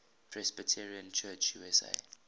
presbyterian church usa